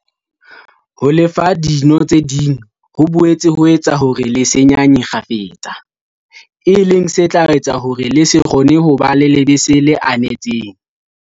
Ho lefa dino tse ding ho boetse ho etsa hore le se nyanye kgafetsa, e leng se tla etsa hore o se kgone ho ba le lebese le anetseng.